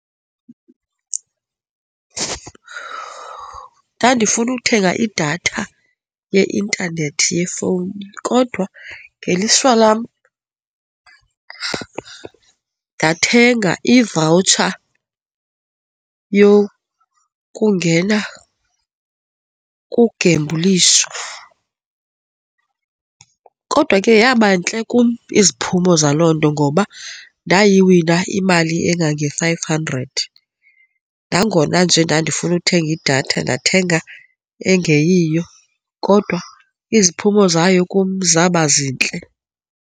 Ndandifuna uthenga idatha ye-intanethi yefowuni kodwa ngelishwa lam, ndathenga ivawutsha yokungena kugembulisho. Kodwa ke yaba ntle kum iziphumo zalo nto ngoba ndayiwina imali engange five hundred. Nangona nje ndandifunda uthenga idatha ndathenga engeyiyo kodwa iziphumo zayo kum zaba zintle.